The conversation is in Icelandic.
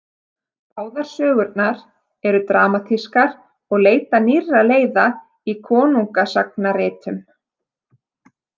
Báðar sögurnar eru dramatískar og leita nýrra leiða í konungasagnaritun.